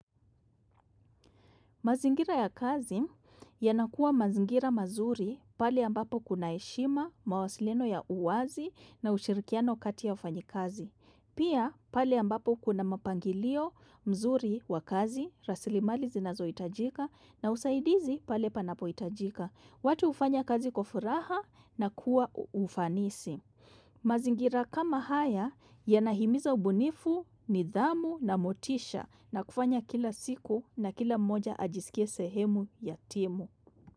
Mazingira ya kazi yanakuwa mazingira mazuri pale ambapo kuna heshima mawasiliano ya uwazi na ushirikiano kati wafanyikazi. Pia pale ambapo kuna mapangilio mzuri wa kazi rasilimali zinazohitajika na usaidizi pale panapohitajika. Watu hufanya kazi kwa furaha na kuwa ufanisi. Mazingira kama haya yanahimiza ubunifu, nidhamu na motisha na kufanya kila siku na kila mmoja ajisikie sehemu ya timu.